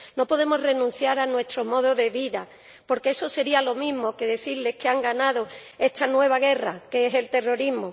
No podemos renunciar a nuestro modo de vida, porque eso sería lo mismo que decirles que han ganado esta nueva guerra que es el terrorismo.